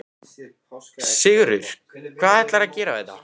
Sigurður: Hvað ætlarðu að gera við þetta?